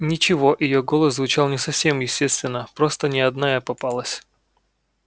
ничего её голос звучал не совсем естественно просто не одна я попалась